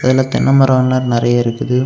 இதுல தென்ன மரம் எல்லா நெறைய இருக்குது.